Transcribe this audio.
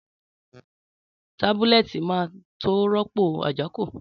Tábúlètí má tó ròpó àjákõ